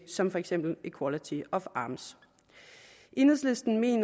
som for eksempel equality of arms enhedslisten mener